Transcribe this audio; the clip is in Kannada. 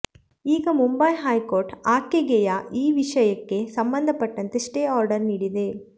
ಈಗ ಮುಂಬೈ ಹೈ ಕೋರ್ಟ್ ಆಕೆಗೆಯ ಈ ವಿಷಯಕ್ಕೆ ಸಂಬಂಧಪಟ್ಟಂತೆ ಸ್ಟೇ ಆರ್ಡರ್ ನೀಡಿದೆ